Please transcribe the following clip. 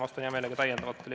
Vastan hea meelega küsimustele.